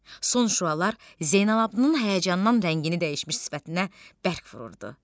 Son şüalar Zeynalabddinin həyəcandan rəngini dəyişmiş sifətinə bərk vururdu.